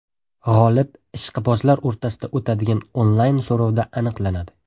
G‘olib ishqibozlar o‘rtasida o‘tadigan onlayn so‘rovda aniqlanadi.